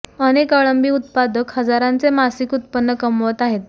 अनेक अळंबी उत्पादक हजारांचे मासिक उत्पन्न कमवत आहेत